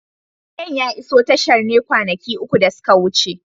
Kayan ya iso tashar ne kwanaki uku da suka wuce.